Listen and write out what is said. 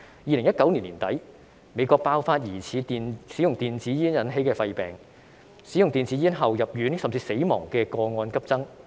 2019年年底，美國爆發疑似使用電子煙引起的肺病，使用電子煙後入院，甚至死亡的個案急增。